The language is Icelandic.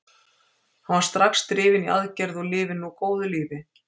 Hann var strax drifinn í aðgerð og lifir nú góðu lífi.